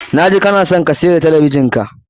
Na ji kana son ka siyar da talabijin ka.